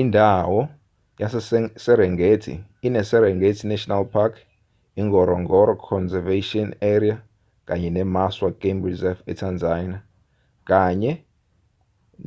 indawo yaseserengeti ineserengeti national park ingorongoro conservation area kanye nemaswa game reserve etanzania kanye